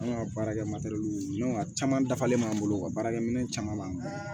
An ka baarakɛ a caman dafalen b'an bolo u ka baarakɛminɛ caman b'an bolo